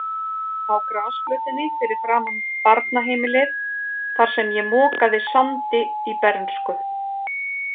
Á grasflötinni fyrir framan barnaheimilið, þar sem ég mokaði sandi í bernsku.